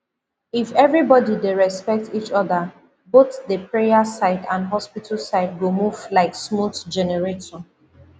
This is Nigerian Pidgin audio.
if everybody dey respect each other both the prayer side and hospital side go move like smooth generator